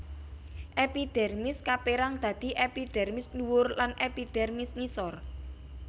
Epidermis kapérang dadi epidermis ndhuwur lan epidermis ngisor